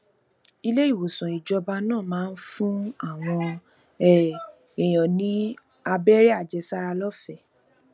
iléìwòsàn ìjọba náà máa ń fún àwọn um èèyàn ní abéré àjẹsára lófèé